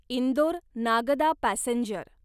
Indore Nagda passenger